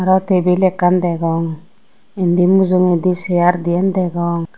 aro table ekkan degong indi mujungedi chair din degong.